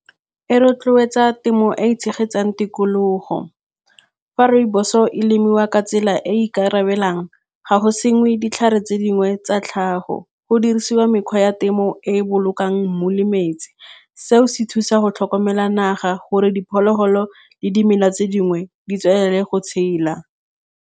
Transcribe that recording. E rotloetsa temo e e tshegetsang tikologo fa rooibos-o e lemiwa ka tsela e e ikarabelang. Ga go sengwe ditlhare tse dingwe tsa tlhago, go dirisiwa mekgwa ya temo e e bolokang mmu le metsi, seo se thusa go tlhokomela naga gore diphologolo le dimela tse dingwe di tswelele go tshela.